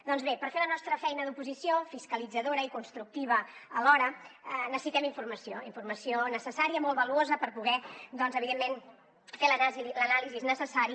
doncs bé per fer la nostra feina d’oposició fiscalitzadora i constructiva alhora necessitem informació informació necessària molt valuosa per poder doncs evidentment fer l’anàlisi necessària